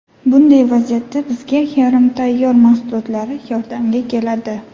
Bunday vaziyatda bizga yarim tayyor mahsulotlar yordamga keladi.